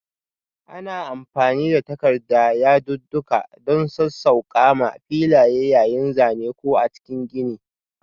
Ana amfani da takarda yadudduka don sassauƙa m filaye yayin zane ko a cikin gini.